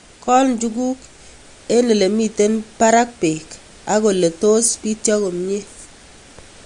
Kol njuguk ye mito parak peek ak ole tos pityo komie